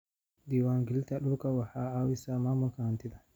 Diiwaangelinta dhulku waxay caawisaa maamulka hantida.